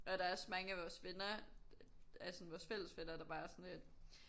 Og der også mange af vores venner af sådan vores fælles venner der bare var sådan lidt